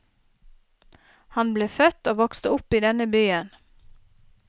Han ble født og vokste opp i denne byen.